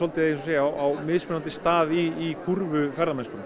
á mismunandi stað í kúrfu ferðamennskunnar